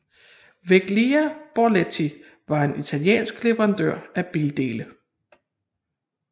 Veglia Borletti var en italiensk leverandør af bildele